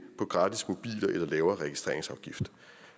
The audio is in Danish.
på gratis mobiler eller lavere registreringsafgifter